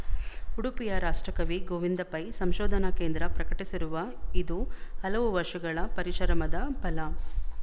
ಉಡುಪಿಯ ರಾಷ್ಟ್ರಕವಿ ಗೋವಿಂದ ಪೈ ಸಂಶೋಧನಾ ಕೇಂದ್ರ ಪ್ರಕಟಿಸಿರುವ ಇದು ಹಲವು ವರ್ಷಗಳ ಪರಿಶರಮದ ಫಲ